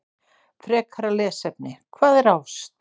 Frekara lesefni: Hvað er ást?